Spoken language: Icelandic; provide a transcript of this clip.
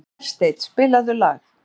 Hersteinn, spilaðu lag.